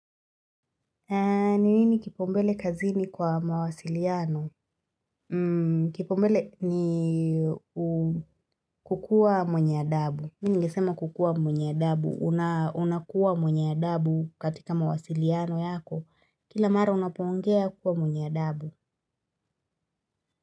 Ni nini kipaumbele kazini kwa mawasiliano? Kipaumbele ni kukua mwenye adabu. Mimi ningesema kukuwa mwenye adabu. Unakuwa mwenye adabu katika mawasiliano yako. Kila mara unapoongea kuwa mwenye adabu.